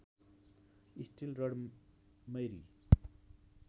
steel rod Mary